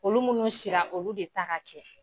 Olu munnu sira olu de ta ka kɛ